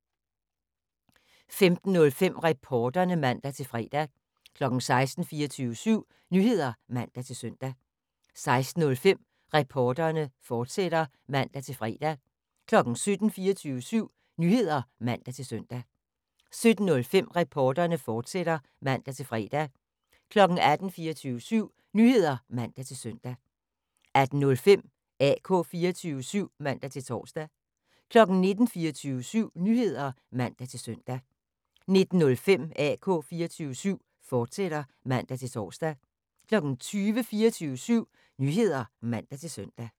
15:05: Reporterne (man-fre) 16:00: 24syv Nyheder (man-søn) 16:05: Reporterne, fortsat (man-fre) 17:00: 24syv Nyheder (man-søn) 17:05: Reporterne, fortsat (man-fre) 18:00: 24syv Nyheder (man-søn) 18:05: AK 24syv (man-tor) 19:00: 24syv Nyheder (man-søn) 19:05: AK 24syv, fortsat (man-tor) 20:00: 24syv Nyheder (man-søn)